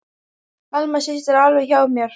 Alma systir er alveg hjá mér.